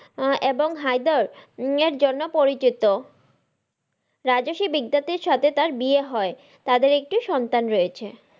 আহ এবং হায়দার এর জন্য পরিচিত। রাজস্বি বিদ্যাতির সাথে তার বিয়ে হয় তাদের একটি সন্তান রয়েছে।